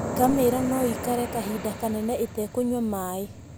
Ngamĩra no ĩikare kahinda kanene ĩtekũnyua maaĩ.